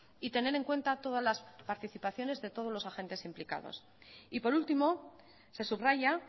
y tener en cuenta todas las participaciones de todos los agentes implicados y por último se subraya